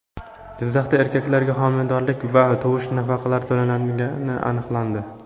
Jizzaxda erkaklarga homiladorlik va tug‘ish nafaqalari to‘langani aniqlandi.